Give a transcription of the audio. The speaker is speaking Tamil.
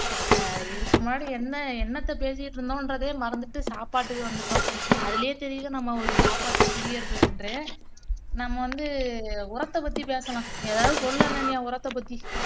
அஹ் இதுக்கு முன்னாடி என்ன என்னத்த பேசிக்கிட்டு இருந்தோன்றதையே மறந்துதுட்டு சாப்பாட்டுக்கு வந்துட்டோம் அதுலயே தெரியுது நம்ம ஒரு சாப்பாட்டு பிரியர்கள் என்று நம்ம வந்து உரத்த பத்தி பேசலாம் எதாவது சொல்லு அனன்யா உரத்த பத்தி